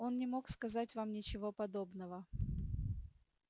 он не мог сказать вам ничего подобного